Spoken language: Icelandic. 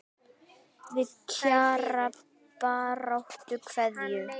Með Kjara baráttu kveðju.